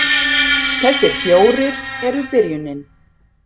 Þessir fjórir eru byrjunin